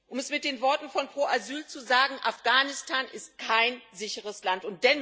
Um es mit den Worten von Pro Asyl zu sagen Afghanistan ist kein sicheres Land.